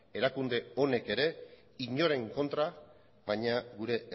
erakunde honek ere inoren kontra baina gure